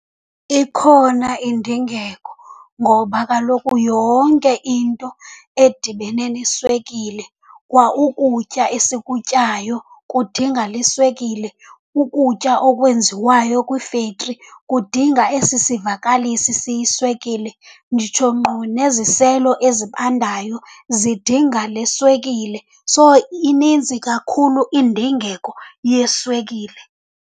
Ikhona indingeko ngoba kaloku yonke into edibene neswekile, kwa ukutya esikutyayo kudinga le swekile. Ukutya okwenziwayo kwiifektri kudinga esi sivakalisi siyiswekile, nditsho nkqo neziselo ezibandayo zidinga le swekile. So, ininzi kakhulu indingeko yeswekile.